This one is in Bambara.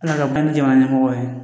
Ala ka bange jamana ɲɛmɔgɔ ye